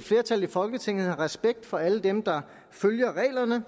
flertal i folketinget har respekt for alle dem der følger reglerne